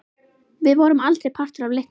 Við vorum aldrei partur af leiknum.